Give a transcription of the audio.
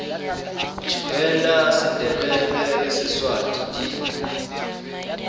tshiveda sendebele le siswati di